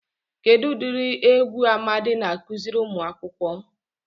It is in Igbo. Kedụ udiri egwu Amadi na-akụziri umuakwukwu?